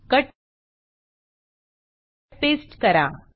cut paste करा